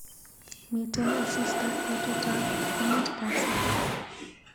Miten asista betutab ko muut kasi